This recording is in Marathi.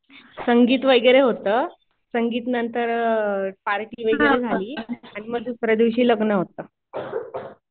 संगीत वगैरे होतं. संगीत नंतर पार्टी वगैरे झाली. आणि मग दुसऱ्या दिवशी लग्न होतं.